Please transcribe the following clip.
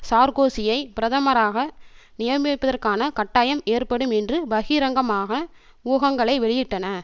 சார்கோசியை பிரதமராக நியமிப்பதற்கான கட்டாயம் ஏற்படும் என்று பகிரங்கமாக ஊகங்களை வெளியிட்டன